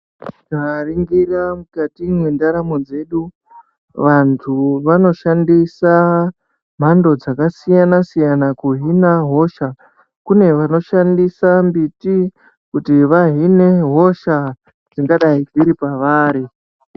Ukaningira mukati mwendaramo dzedu vanthu vanoshandisa mhando dzakasiyana siyana kuhina hosha ,kune vanoshandisa mimbiti kuti vahine hosha dzingadai dziri pevari.